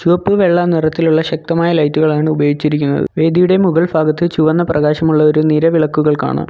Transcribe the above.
ചുവപ്പ് വെള്ള നിറത്തിലുള്ള ശക്തമായ ലൈറ്റുകളാണ് ഉപയോഗിച്ചിരിക്കുന്നത് വേദിയുടെ മുകൾ ഫാഗത്ത് ചുവന്ന പ്രകാശമുള്ള ഒരു നീല വിളക്കുകൾ കാണാം.